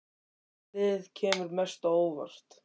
Hvaða lið kemur mest á óvart?